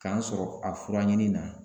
K'an sɔrɔ a furaɲini na